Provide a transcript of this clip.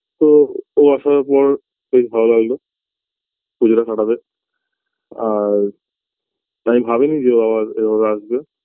তো ও আসার পর বেশ ভালো লাগলো পুজোটা কাটাবে আর আমি ভাবিনি যে ও আবার এভাবে আসবে